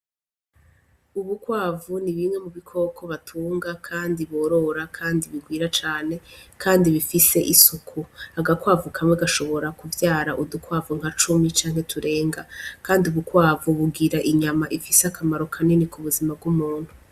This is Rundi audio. Ubukwavu ni bimwe mu bikoko batunga, kandi borora, kandi bigwira cane, kandi bifise isuku agakwavu kamwe gashobora kuvyara udukwavu nka cumi canke turenga, kandi ubukwavu bugira inyama ifise akamaro kanini ku buzima bw'umuntu.